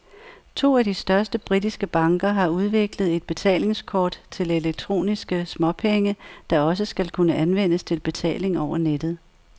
To af de største britiske banker har udviklet et betalingskort til elektroniske småpenge, der også skal kunne anvendes til betaling over nettet.